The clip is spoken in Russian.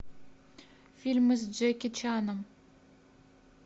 фильмы с джеки чаном